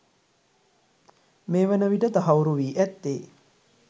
මේ වන විට තහවුරු වී ඇත්තේ